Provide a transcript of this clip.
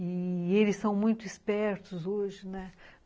E eles são muito espertos hoje, né?